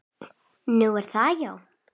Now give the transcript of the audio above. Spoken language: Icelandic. Nú, er það já.